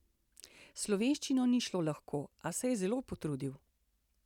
S slovenščino ni šlo lahko, a se je zelo potrudil.